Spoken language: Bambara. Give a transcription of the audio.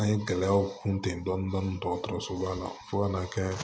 An ye gɛlɛyaw kun tɛ dɔni dɔni dɔgɔtɔrɔsoba la fo ka n'a kɛ